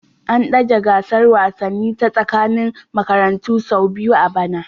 An dage gasar wasanni ta tsakanin makarantu sau biyu a bana